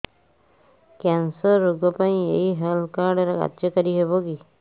cancer ରୋଗ ପାଇଁ ଏଇ ହେଲ୍ଥ କାର୍ଡ କାର୍ଯ୍ୟକାରି ହେବ କି